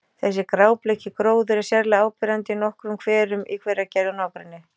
Þessi grábleiki gróður er sérlega áberandi í nokkrum hverum í Hveragerði og nágrenni.